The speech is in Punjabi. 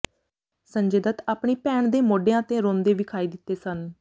ਸੰਜੇ ਦੱਤ ਆਪਣੀ ਭੈਣ ਦੇ ਮੋਢਿਆਂ ਤੇ ਰੋਂਦੇ ਵਿਖਾਈ ਦਿੱਤੇ ਸਨ